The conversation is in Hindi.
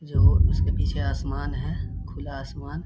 जो उसके पीछे आसमान है खुला आसमान --